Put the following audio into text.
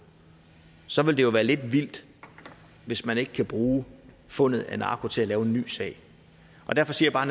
så vil det være lidt vildt hvis man ikke kan bruge fundet af narko til at lave en ny sag derfor siger